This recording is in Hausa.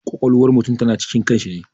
Ƙwaƙwalwar mutum ta na cikin kan shi ne